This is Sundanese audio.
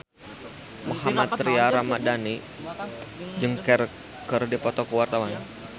Mohammad Tria Ramadhani jeung Cher keur dipoto ku wartawan